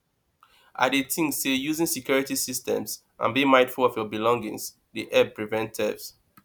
i dey think say using security systems and being mindful of your belongings dey help prevent theft